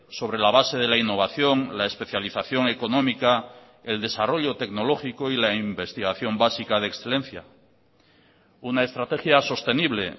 sobre la base de la innovación la especialización económica el desarrollo tecnológico y la investigación básica de excelencia una estrategia sostenible